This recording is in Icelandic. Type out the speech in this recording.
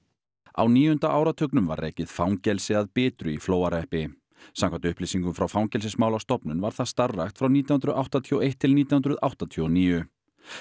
á níunda áratugnum var rekið fangelsi að Bitru í Flóahreppi samkvæmt upplýsingum frá Fangelsismálastofnun var það starfrækt frá nítján hundruð áttatíu og eitt til nítján hundruð áttatíu og níu